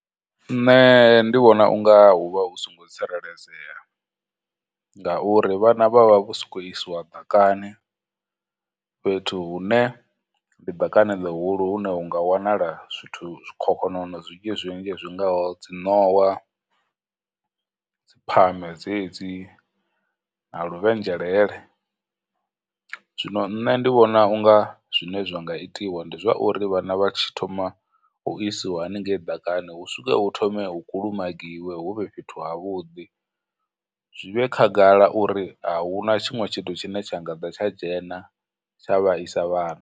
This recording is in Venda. Nṋe ndi vhona u nga huvha hu songo tsireledzea, ngauri vhana vha vha vho sokou isiwa ḓakani, fhethu hune ndi ḓakani ḽihulu hune hunga wanala zwithu, zwikhokhonono zwinzhi zwinzhi zwingaho dziṋowa, dziphame dzedzi, na luvhenzhelele. Zwino nṋe ndi vhona u nga zwine zwa nga itiwa ndi zwa uri vhana vha tshi thoma u isiwa haningei ḓakani, hu thome hu kulumagiwe hu vhe fhethu ha vhuḓi, zwi vhe khagala uri ahuna tshiṅwe tshithu tshine tsha nga ḓa tsha dzhena, tsha vhaisa vhana.